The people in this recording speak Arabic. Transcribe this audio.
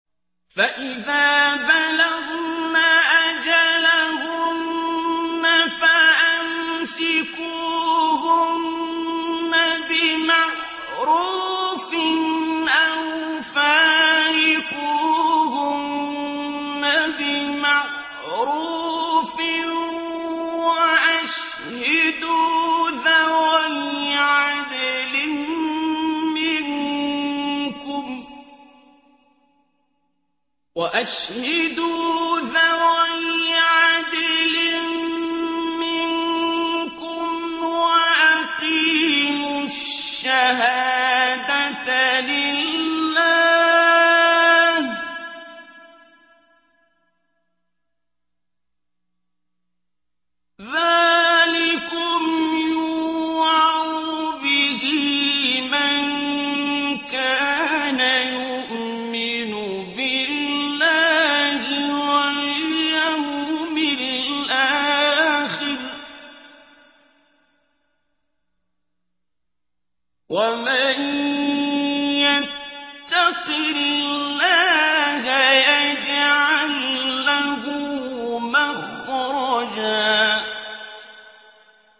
فَإِذَا بَلَغْنَ أَجَلَهُنَّ فَأَمْسِكُوهُنَّ بِمَعْرُوفٍ أَوْ فَارِقُوهُنَّ بِمَعْرُوفٍ وَأَشْهِدُوا ذَوَيْ عَدْلٍ مِّنكُمْ وَأَقِيمُوا الشَّهَادَةَ لِلَّهِ ۚ ذَٰلِكُمْ يُوعَظُ بِهِ مَن كَانَ يُؤْمِنُ بِاللَّهِ وَالْيَوْمِ الْآخِرِ ۚ وَمَن يَتَّقِ اللَّهَ يَجْعَل لَّهُ مَخْرَجًا